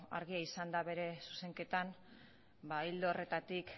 argia izan da bere zuzenketan ildo horretatik